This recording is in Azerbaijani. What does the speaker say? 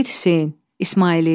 Seyid Hüseyn, İsmailiyyə.